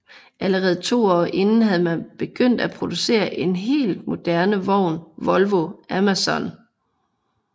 Allerede 2 år inden havde man begyndt at producere en helt moderne vogn Volvo Amazon